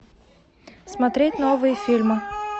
смотреть новые фильмы